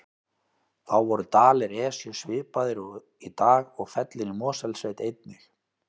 Þá voru dalir Esju svipaðir og í dag og fellin í Mosfellssveit einnig.